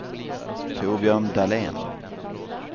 Torbjörn Dahlén